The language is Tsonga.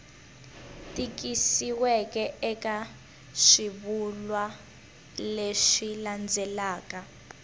tikisiweke eka swivulwa leswi landzelaka